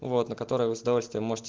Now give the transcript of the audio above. вот на которой вы с удовольствием можете